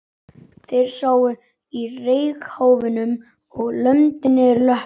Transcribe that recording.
Þeir sátu á reykháfnum og lömdu niður löppunum.